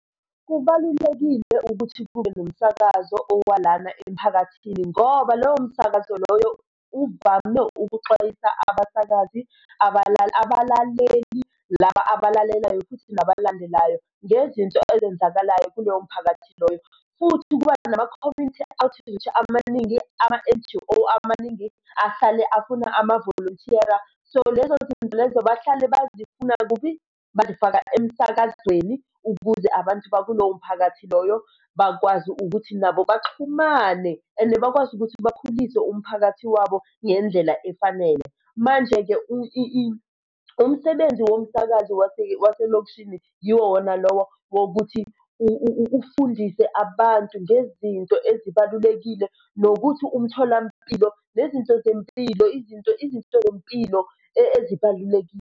Kubalulekile ukuthi kube nomsakazo owalana emiphakathini ngoba lowo msakazo loyo uvame ukuxwayisa abasakazi abalaleli, laba abalalelayo futhi nabalandelayo ngezinto ezenzakalayo kuloyo mphakathi loyo. Futhi kuba nama-community activity amaningi, ama-N_G_O amaningi ahlale afuna amavolonthiyala. So, lezo zinto lezo bahlale bazifuna kuphi? Bazifaka emsakazweni ukuze abantu bakulowo mphakathi loyo bakwazi ukuthi nabo baxhumane and bakwazi ukuthi bakhulise umphakathi wabo ngendlela efanele. Manje-ke umsebenzi womsakazi waselokishini yiwo wona lowo wokuthi ufundise abantu ngezinto ezibalulekile nokuthi umtholampilo nezinto zempilo, izinto, izinto zempilo ezibalulekile.